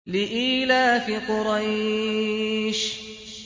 لِإِيلَافِ قُرَيْشٍ